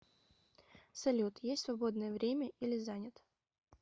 салют есть свободное время или занят